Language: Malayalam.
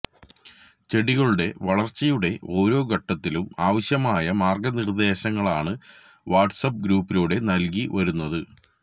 ചെടികളുടെ വളർച്ചയുടെ ഓരോ ഘട്ടത്തിലും ആവശ്യമായ മാർഗനിർദേശങ്ങളാണ് വാട്സ്ആപ് ഗ്രൂപ്പിലൂടെ നൽകി വരുന്നത്